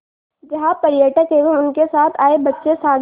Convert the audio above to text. जहाँ पर्यटक एवं उनके साथ आए बच्चे सागर